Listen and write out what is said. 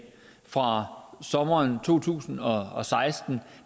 fra sommeren to tusind og og seksten